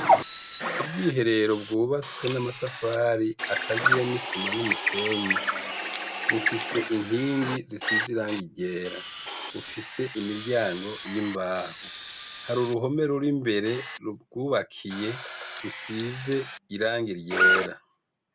ubwiherero bwubatswe n'amatafari akaziye n'isima n'umusenyi bufise inkingi zisize irangi ryera bufise imiryango y'imbaho hari uruhome ruri imbere ruryubakiye rusize irangi ryera